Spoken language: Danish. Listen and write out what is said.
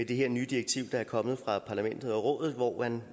det her nye direktiv der er kommet fra parlamentet og rådet hvor man